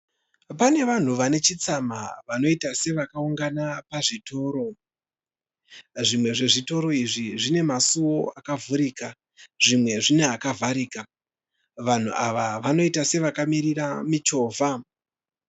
Pane vanhu vane chitsama vanoita sevakaungana pazvitoro. Zvimwe zvezvitoro izvi zvine masuwo akavhurika zvimwe zvine akavharika. Vanhu ava vanoita sevakamirira michovha.